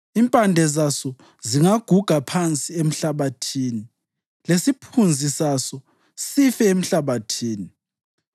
Impande zaso zingaguga phansi emhlabathini lesiphunzi saso sife emhlabathini,